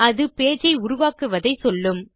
அது பேஜ் ஐ உருவாக்குவதை சொல்லும்